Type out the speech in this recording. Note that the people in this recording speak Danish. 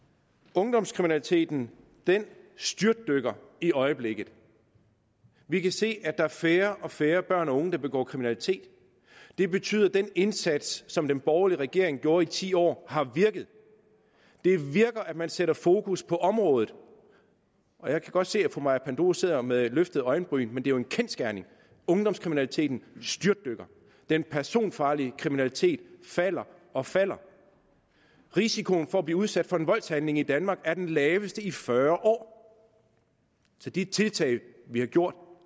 ungdomskriminaliteten styrtdykker i øjeblikket vi kan se at der er færre og færre børn og unge der begår kriminalitet det betyder at den indsats som den borgerlige regering gjorde i ti år har virket det virker at man sætter fokus på området jeg kan godt se at fru maja panduros sidder med løftede øjenbryn men det er jo en kendsgerning at ungdomskriminaliteten styrtdykker den personfarlige kriminalitet falder og falder og risikoen for at blive udsat for en voldshandling i danmark er den laveste i fyrre år så de tiltag vi har gjort